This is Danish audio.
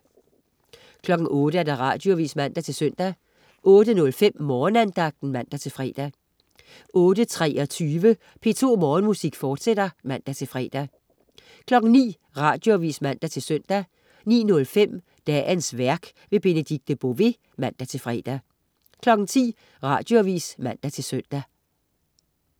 08.00 Radioavis (man-søn) 08.05 Morgenandagten (man-fre) 08.23 P2 Morgenmusik, fortsat (man-fre) 09.00 Radioavis (man-søn) 09.05 Dagens værk. Benedikte Bové (man-fre) 10.00 Radioavis (man-søn)